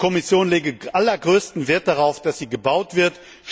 Die Kommission lege allergrößten Wert darauf, dass sie gebaut wird.